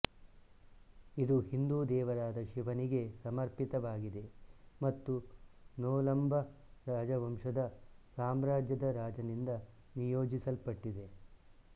ಇದು ಹಿಂದೂ ದೇವರಾದ ಶಿವನಿಗೆ ಸಮರ್ಪಿತವಾಗಿದೆ ಮತ್ತು ನೊಲಂಬ ರಾಜವಂಶದ ಸಾಮ್ರಾಜ್ಯದ ರಾಜನಿಂದ ನಿಯೋಜಿಸಲ್ಪಟ್ಟಿದೆ